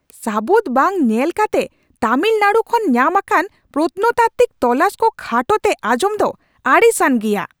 ᱥᱟᱹᱵᱩᱫ ᱵᱟᱝ ᱧᱮᱞ ᱠᱟᱛᱮ ᱛᱟᱹᱢᱤᱞᱱᱟᱰᱩ ᱠᱷᱚᱱ ᱧᱟᱢ ᱟᱠᱟᱱ ᱯᱨᱚᱛᱱᱚᱛᱟᱛᱛᱤᱠ ᱛᱚᱞᱟᱥ ᱠᱚ ᱠᱷᱟᱴᱚ ᱛᱮ ᱟᱸᱡᱚᱢ ᱫᱚ ᱟᱹᱲᱤᱥᱟᱱ ᱜᱮᱭᱟ ᱾